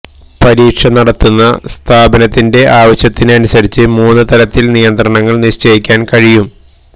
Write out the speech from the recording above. പരീക്ഷ നടത്തുന്ന സ്ഥാപനത്തിന്റെ ആവശ്യത്തിന് അനുസരിച്ച് മൂന്നുതലത്തില് നിയന്ത്രണങ്ങള് നിശ്ചയിക്കാന് കഴിയും